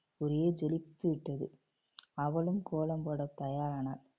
ஒரே ஜொலித்து விட்டது அவளும் கோலம் போட தயாரானாள்